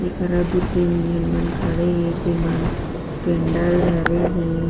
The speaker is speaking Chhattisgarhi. एक हरा दू तीन जन मन खड़े हे जे मन केंडल धरे हे।